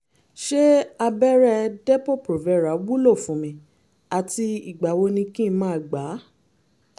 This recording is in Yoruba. ṣé abẹ́rẹ́ depo-provera wúlò fún mi àti ìgbà wo ni kí n máa gbà á?